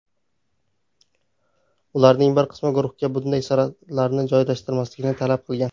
Ularning bir qismi guruhga bunday suratlarni joylashtirmaslikni talab qilgan.